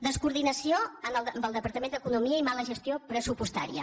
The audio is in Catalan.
descoordinació amb el departament d’economia i mala gestió pressupostària